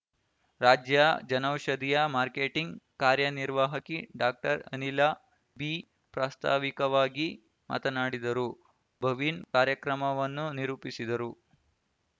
ರಾಜ್ಯ ಜನೌಷಧಿಯ ಮಾರ್ಕೆಟಿಂಗ್ ಕಾರ್ಯನಿರ್ವಾಹಕಿ ಡಾಕ್ಟರ್ ಅನಿಲ ಬಿ ಪ್ರಾಸ್ತಾವಿಕವಾಗಿ ಮಾತನಾಡಿದರು ಭವಿನ್ ಕಾರ್ಯಕ್ರಮವನ್ನು ನಿರೂಪಿಸಿದರು